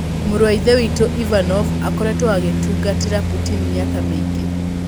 Mũrũ wa Ithe witũ Ivanov akoretwo agĩtungatĩra Putin mĩaka mĩingĩ.